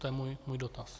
To je můj dotaz.